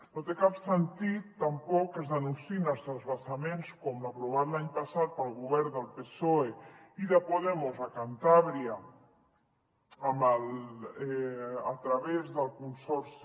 no té cap sentit tampoc que es denunciïn els transvasaments com l’aprovat l’any passat pel govern del psoe i de podemos a cantàbria a través del consorci